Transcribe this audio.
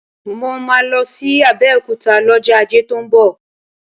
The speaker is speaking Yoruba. Mo máa lọ sí Abẹ́òkúta lọ́jọ́ Ajé tó ń bọ̀